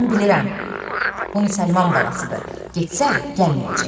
Mən bilirəm, bu müsəlman balasıdır, getsə gəlməyəcək.